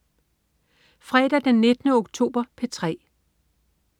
Fredag den 19. oktober - P3: